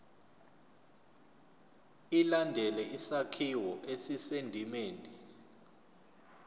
ilandele isakhiwo esisendimeni